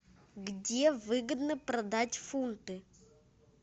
где выгодно продать фунты